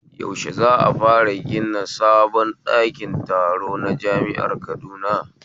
Yaushe za'a fara gina sabon ɗakin taro na jami'ar Kaduna?